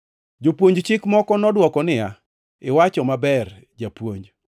Jopuonj chik moko nodwoko niya, “Iwacho maber, japuonj.”